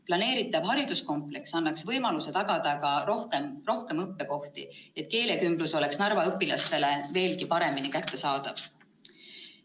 Planeeritav hariduskompleks annaks võimaluse luua rohkem õppekohti, et keelekümblus oleks Narva õpilastele veelgi paremini kättesaadav.